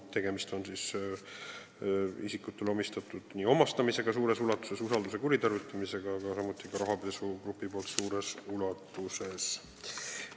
Tegemist on isikutele omistatud omastamisega suures ulatuses, usalduse kuritarvitamisega, samuti rahapesuga grupi poolt suures ulatuses.